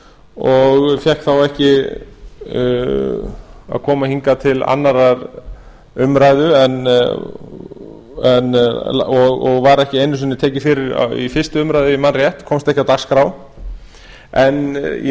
og fékk þá ekki að koma hingað til annarrar umræðu og var ekki einu sinni tekið fyrir í fyrstu umræðu ef ég man rétt komst ekki á dagskrá en í